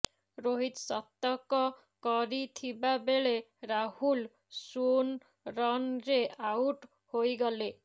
ରୋହିତ ଶତକ କରିଥିବାବେଳେ ରାହୁଲ ଶୂନ୍ ରନରେ ଆଉଟ ହୋଇଗଲେ